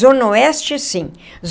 Zona Oeste, sim.